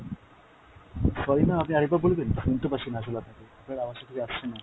sorry ma'am আপনি আর একবার বলবেন, শুনতে পাচ্ছিনা আসলে আপনাকে, আপনার আওয়াজটা ঠিক আসছে না।